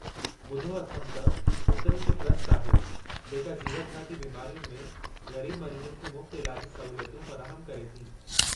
ॿुधो अथमि त उते हिकु ट्रस्ट आहे जेका जीवतिघाती बीमारियुनि में ग़रीबु मरीज़नि खे मुफ़्त इलाजी सहूलियतूं फ़राहमु करे थी।